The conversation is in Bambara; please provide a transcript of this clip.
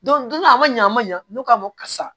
donna a man ɲa a ma ɲa n'u k'a ma karisa